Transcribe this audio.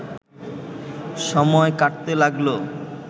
সময় কাটতে লাগল